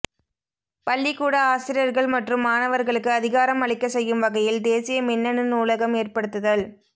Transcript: பள்ளிக்கூட ஆசிரியர்கள் மற்றும் மாணவர்களுக்கு அதிகாரம் அளிக்கச் செய்யும் வகையில் தேசிய மின்னணு நூலகம் ஏற்படுத்துதல்